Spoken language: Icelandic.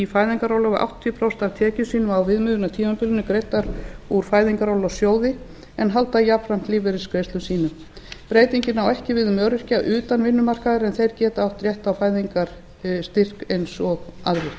fæðingarorlofi áttatíu prósent af tekjum sínum á viðmiðunartímabilinu greiddar úr fæðingarorlofssjóði en halda jafnframt lífeyrisgreiðslum sínum breytingin á ekki við um öryrkja utan vinnumarkaðar en þeir geta átt rétt á fæðingarstyrk eins og aðrir